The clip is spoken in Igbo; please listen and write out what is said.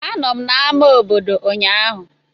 Anọ m na ama obodo ụnyaahụ.